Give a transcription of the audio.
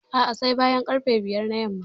A'a, sai bayan ƙarfe biyar na yamma.